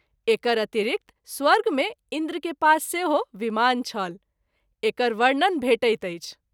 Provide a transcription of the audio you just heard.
एकर अतिरिक्त स्वर्ग मे इंन्द्र के पास सेहो विमान छल एकर वर्णन भेटैत अछि।